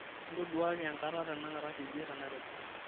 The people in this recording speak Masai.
intoduaki enkata tenakata teidie tenairobi